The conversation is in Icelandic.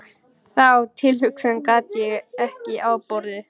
Þá tilhugsun gat ég ekki afborið.